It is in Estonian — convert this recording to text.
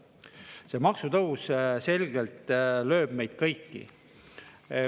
See maksutõus selgelt lööb meid kõiki.